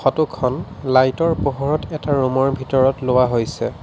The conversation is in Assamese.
ফটো খন লাইট ৰ পোহৰত এটা ৰুম ৰ ভিতৰত লোৱা হৈছে।